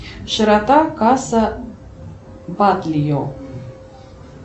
широта касса батлия